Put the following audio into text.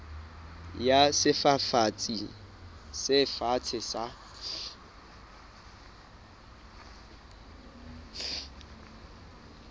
ya sefafatsi se fatshe sa